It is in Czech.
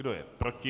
Kdo je proti?